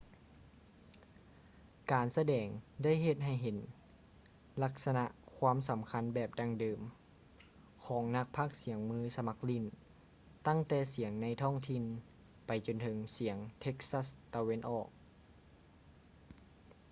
ການສະແດງ ໄດ້ເຮັດໃຫ້ເຫັນລັກສະນະຄວາມສໍາຄັນແບບດັ່ງເດີມ ຂອງນັກພາກສຽງມືສະໝັກຫຼີ້ນ ຕັ້ງແຕ່ສຽງໃນທ້ອງຖິ່ນ ໄປຈົນເຖິງສຽງເທັກຊັສ໌ ຕາເວັນອອກ east texas